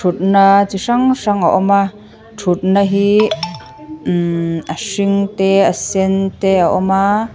na chi hrang hrang a awm a ṭhutna hi mmm a hring te a sen te a awm a.